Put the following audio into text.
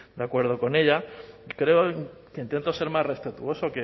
de acuerdo con ella creo que intento ser más respetuoso